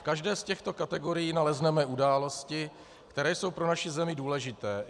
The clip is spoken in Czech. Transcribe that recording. V každé z těchto kategorií nalezneme události, které jsou pro naši zemi důležité.